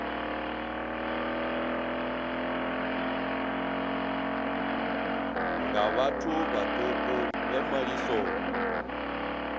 nga vhathu vhaṱuku vhe malisoni